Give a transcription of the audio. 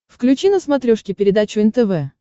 включи на смотрешке передачу нтв